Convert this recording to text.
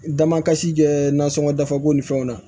Damakasi kɛ nasɔngɔ dafabɔn ni fɛnw na